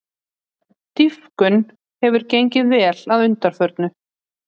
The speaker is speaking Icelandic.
Dýpkun hefur gengið vel að undanförnu